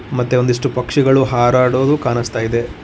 ಮತ್ತೆ ಒಂದಿಷ್ಟು ಪಕ್ಷಿಗಳು ಹರಾಡೊದು ಕಾಣಿಸ್ತಾ ಇದೆ.